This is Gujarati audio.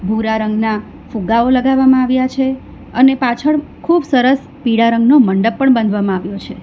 ભૂરા રંગના ફુગ્ગાઓ લગાવવામાં આવ્યા છે અને પાછળ ખૂબ સરસ પીળા રંગનો મંડપ પણ બાંધવામાં આવ્યો છે.